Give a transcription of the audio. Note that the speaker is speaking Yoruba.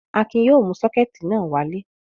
Akin yóò mú sọ́kẹ́tì náà wálé.